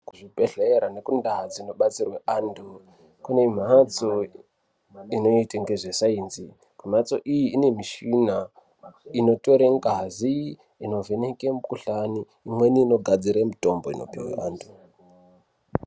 Kuzvibhedhlere nekundau dzinobatsirwa antu kune mhatso inoite ngezvesainzi. Mhatso iyi inemishina inotore ngazi inovheneke mikuhlani imweni inogadzire mitombo inopihwe antu.